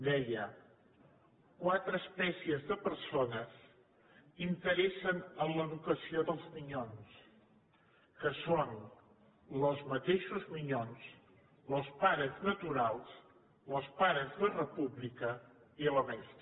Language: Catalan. deia quatre espècies de persones interessen en l’educació dels minyons que són los mateixos minyons los pares naturals los pares de república i lo mestre